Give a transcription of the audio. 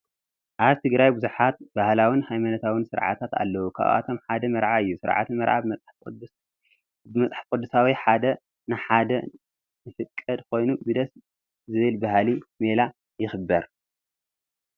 ኣብ ትግራይ ብዙሓት ባህላውን ሃይማኖታውን ስርዓታት ኣለው፡፡ ካብኣቶም ሓደ መርዓ እዩ፡፡ ስርዓተ መርዓ ብመፅሓፍ ቅዱሳዊ ሓደ ንሓደ ንፍቀድ ኮይኑ ብደስ ዝብል ባህላዊ ሜላ ይኽበር፡፡